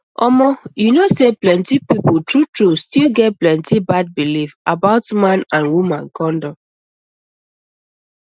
omo you know say people truetrue still get plenty bad belief about man and woman condom